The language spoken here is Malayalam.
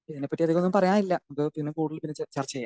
ഇതിനെ പറ്റി എനിക്കൊന്നും പറയാനില്ല. അപ്പൊ കൂടുതൽ പിന്നേചർച്ച ചെയ്യാം.